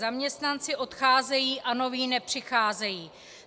Zaměstnanci odcházejí a noví nepřicházejí.